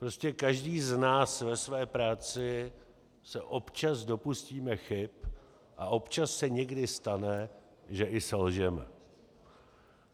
Prostě každý z nás ve své práci se občas dopustíme chyb a občas se někdy stane, že i selžeme.